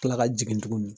Kila ka jigin tuguni